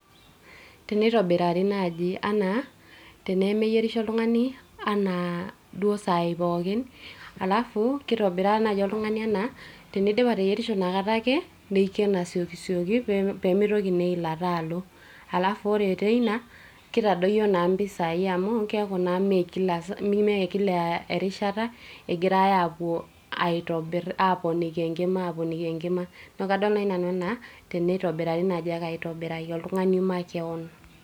Tenitobirari naji anaa teneyierisho oltungani anaa duo sai pookin. alafu kitobiraa naji oltungani ena tenidip ateyierisho inakata ake nikien asiokisioki pemeitoki naa eilata alo . alafu ore teina kitadoyio naa mpisai amu keaku naa mmee kila saa amu mme kila erishata egirae apuo aitobir , aponiki enkima, aponiki enkima